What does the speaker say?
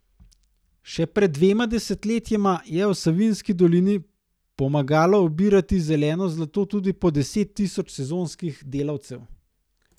Še pred dvema desetletjema je v Savinjski dolini pomagalo obirati zeleno zlato tudi po deset tisoč sezonskih delavcev.